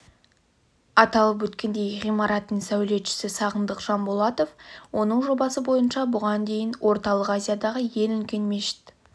аталып өткендей ғимараттың сәулетшісі сағындық жанболатов оның жобасы бойынша бұған дейін орталық азиядағы ең үлкен мешіт